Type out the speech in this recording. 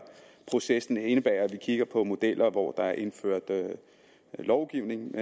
proces indebærer at vi kigger på modeller hvor der er indført lovgivning